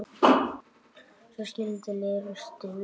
Svo skildi leiðir um stund.